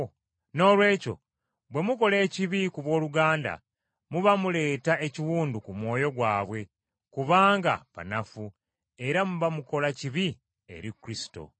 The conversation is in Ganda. Noolwekyo bwe mukola ekibi ku booluganda muba muleeta ekiwundu ku mwoyo gwabwe kubanga banafu, era muba mukola kibi eri Kristo.